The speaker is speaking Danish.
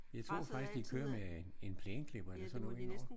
Jeg tror faktisk de kører med en en plæneklipper eller sådan noget hen over